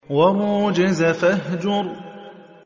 وَالرُّجْزَ فَاهْجُرْ